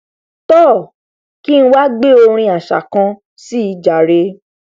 toò kí ng wá gbé orin aṣa kan síi ojàre